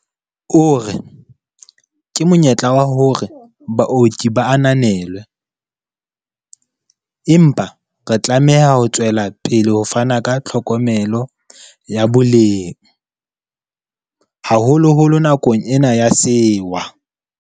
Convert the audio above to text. O re, Ke monyetla wa hore baoki ba ananelwe, empa re tlameha ho tswelapele ho fana ka tlhokomelo ya boleng, haholoholo nakong ena ya sewa.